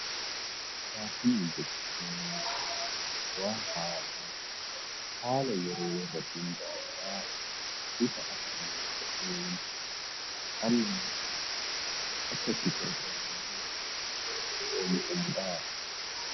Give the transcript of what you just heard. Faashiniin waan haaraa haala yeroo irratti hundaa'uun bifa ammayyaa ta'een kan dhalli namaa itti fayyadamuu fi eenyummaa isaa ittiin ibsatudha.